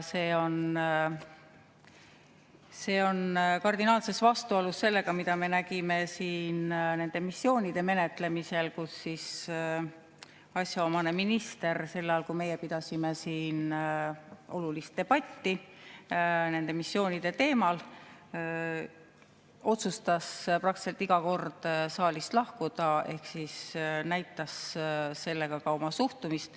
See on kardinaalselt vastuolus sellega, mida me nägime siin missioonide menetlemisel, kui asjaomane minister sel ajal, kui meie pidasime siin olulist debatti missioonide teemal, otsustas praktiliselt iga kord saalist lahkuda ehk siis näitas sellega ka oma suhtumist.